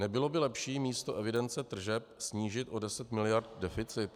Nebylo by lepší místo evidence tržeb snížit o 10 miliard deficit?